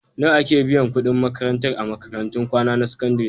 Nawa ake biyan kuɗin makarantar a makarantun kwana na sakandare?